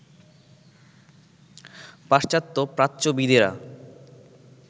পাশ্চাত্য প্রাচ্যবিদেরা